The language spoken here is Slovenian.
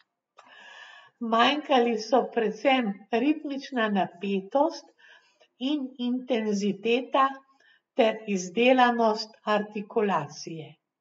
Manjkali so predvsem ritmična napetost in intenziteta ter izdelanost artikulacije.